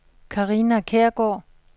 Karina Kjærgaard